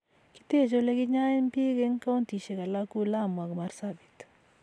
kiteche oleginyoen biik eng kauntishek alak ku lamu ago marsabit